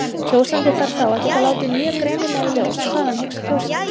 Kjósandi þarf þá að geta látið mjög greinilega í ljós hvað hann hyggst kjósa.